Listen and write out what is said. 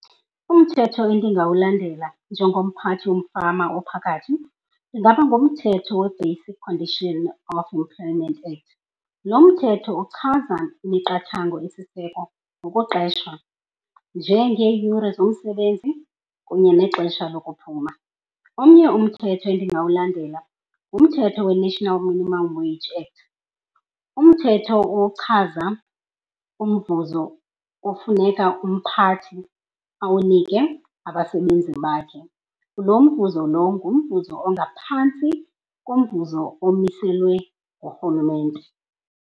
Umthetho endingawulandela njengomphathi womfama ophakathi ingaba ngumthetho weBasic Condition of Employment Act. Lo mthetho uchaza imiqathango esisiseko ngokuqeshwa, njengeeyure zomsebenzi kunye nexesha lokuphuma. Omnye umthetho endingawulandela ngumthetho weNational Minimum Wage Act, umthetho ochaza umvuzo ofuneka umphathi awunike abasebenzi bakhe. Lo mvuzo lo ngumvuzo ongaphantsi komvuzo omiselwe ngurhulumente.